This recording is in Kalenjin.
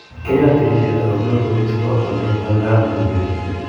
Kiayat tireshet akopiro koristo akolenjon kararanitu betut